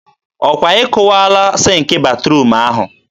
ọ kwa ị kụwaala sịnk batruum ahụ?